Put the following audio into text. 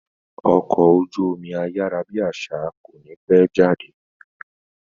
Ọkọ̀ ojú omi ayárábiàsà kò ní pẹ́ jáde